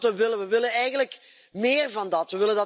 Dat is wat we willen, en we willen eigenlijk meer van dat.